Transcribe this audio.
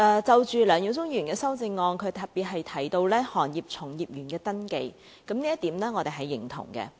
就梁耀忠議員的修正案，他特別提到行業從業員的登記，這點我們是認同的。